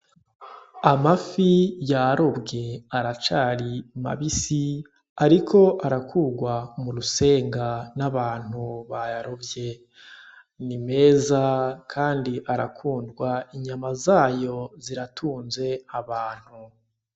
Amafi yarobwe aracari mabisi ariko arakurwa murusenga nabantu bayarovye nimeza kandi arakundwa inyama zayo ziratunze abantu